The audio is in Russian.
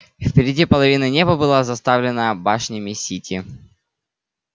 впереди половина неба была заставлена башнями сити